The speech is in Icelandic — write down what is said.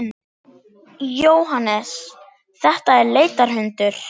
Jóhannes: Þetta er leitarhundur?